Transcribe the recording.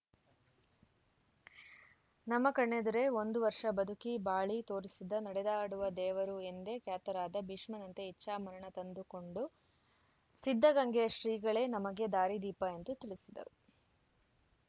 ನಮ್ಮ ಕಣ್ಣೇದುರೆ ಒಂದು ವರ್ಷ ಬದುಕಿ ಬಾಳಿ ತೋರಿಸಿದ ನಡೆದಾಡುವ ದೇವರು ಎಂದೇ ಖ್ಯಾತರಾದ ಭೀಷ್ಮನಂತೆ ಇಚ್ಛಾಮರಣ ತಂದುಕೊಂಡು ಸಿದ್ಧಗಂಗೆಯ ಶ್ರೀಗಳೇ ನಮಗೆ ದಾರಿ ದೀಪ ಎಂದು ತಿಳಿಸಿದರು